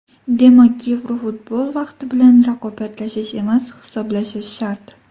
Demak, Yevrofutbol vaqti bilan raqobatlashish emas, hisoblashish shart.